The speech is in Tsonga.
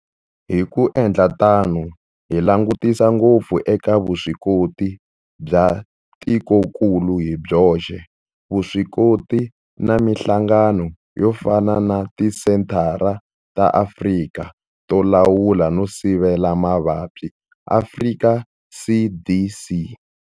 Hi ku endla tano hi langutisa ngopfu eka vuswikoti bya tikokulu hi byoxe, vuswikoti na mihlangano yo fana na Tisenthara ta Afrika to Lawula no Sivela Mavabyi, Afrika CDC.